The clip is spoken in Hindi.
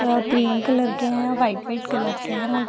अ क्रीम कलर के है और वाइट वाइट कलर के है और --